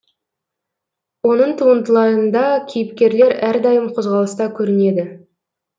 оның туындыларында кейіпкерлер әрдайым қозғалыста көрінеді